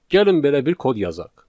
Gəlin belə bir kod yazaq.